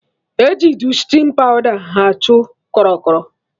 Eji Dustịn pawda achụ krọ krọ